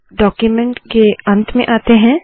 document के अंत में जाते है